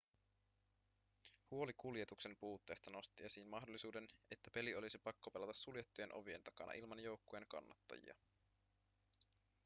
huoli kuljetuksen puutteesta nosti esiin mahdollisuuden että peli olisi pakko pelata suljettujen ovien takana ilman joukkueen kannattajia